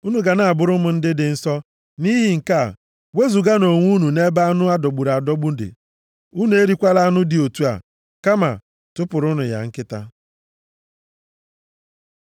“Unu ga na-abụrụ m ndị dị nsọ. Nʼihi nke a, wezuganụ onwe unu nʼebe anụ a dọgburu adọgbu dị. Unu erikwala anụ dị otu a, kama tụpụrụnụ ya nkịta.